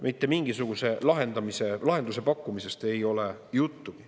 Mitte mingisuguse lahenduse pakkumisest ei ole juttugi.